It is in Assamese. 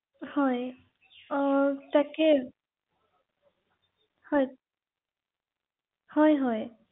হয় হয় আপোনাৰ যিহেতু আজাৰা কৈছে নহয় জানো ৷